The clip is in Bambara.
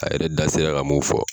A yɛrɛ da sera ka mun fɔ